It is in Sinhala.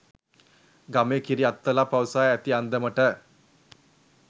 ගමේ කිරිඅත්තලා පවසා ඇති අන්දමට